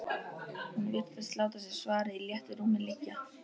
Hún virtist láta sér svarið í léttu rúmi liggja.